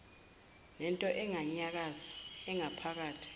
nento enganyakazi engaphakathi